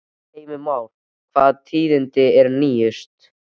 Heimir Már, hvaða tíðindi eru nýjust?